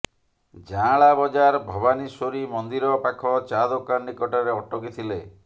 ଯାଁଳା ବଜାର ଭବାନୀଶ୍ୱରୀ ମନ୍ଦିର ପାଖ ଚା ଦୋକାନ ନିକଟରେ ଅଟକିଥିଲେ